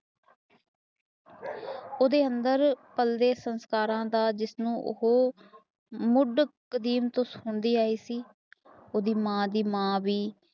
ਓਦੇ ਅੰਦਰ ਪਾਲਦੇ ਸੰਸਕਾਰਾ ਦਾ ਜਿਸਨੂੰ ਉਹ ਮੁੱਢ ਤੋਂ ਸਿਖਾਦੀ ਆਇ ਸੀ ਉਸਦੀ ਮਾਦੀ ਮਾਦੀ